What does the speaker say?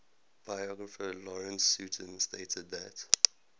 biographer lawrence sutin stated that